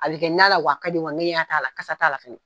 A bɛ na la, wa a ka di ngɛɲɛ t'a la wa kasa t'a la fana.